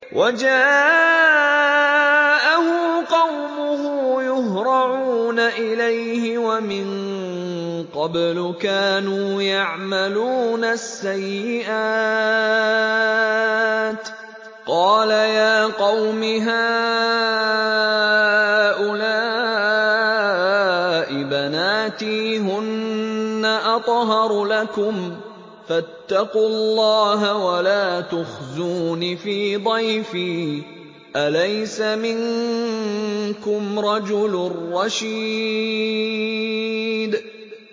وَجَاءَهُ قَوْمُهُ يُهْرَعُونَ إِلَيْهِ وَمِن قَبْلُ كَانُوا يَعْمَلُونَ السَّيِّئَاتِ ۚ قَالَ يَا قَوْمِ هَٰؤُلَاءِ بَنَاتِي هُنَّ أَطْهَرُ لَكُمْ ۖ فَاتَّقُوا اللَّهَ وَلَا تُخْزُونِ فِي ضَيْفِي ۖ أَلَيْسَ مِنكُمْ رَجُلٌ رَّشِيدٌ